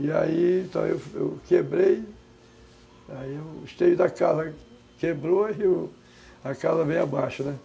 E aí, então, eu eu quebrei, aí o esteio da casa quebrou e a casa veio abaixo, né?